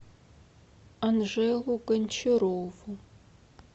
анжелу гончарову